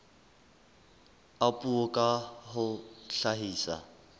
a puo ka ho hlahisa